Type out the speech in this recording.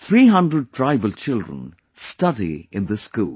300 tribal children study in this school